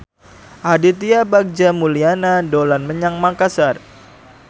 Aditya Bagja Mulyana dolan menyang Makasar